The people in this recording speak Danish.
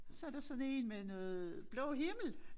Så der sådan én med noget blå himmel